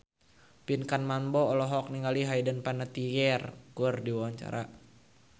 Pinkan Mambo olohok ningali Hayden Panettiere keur diwawancara